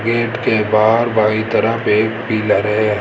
Gate के बाहर बाईं तरफ एक पिलर है।